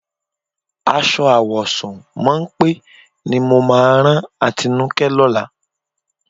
Aṣọ àwọ̀sùn mọ́ńpé ni mo máa rán Atinúkẹ́ lọ́la.